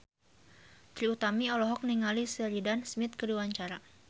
Trie Utami olohok ningali Sheridan Smith keur diwawancara